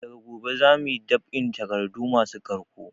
Daga gobe zamuyi dab'in takardu masu ƙarko